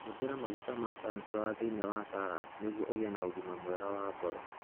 Hũthĩra maguta ma sunflower thĩinĩ wa salad nĩguo ũgĩe na ũgima mwega wa ngoro.